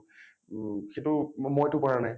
ও মই টো কৰা নাই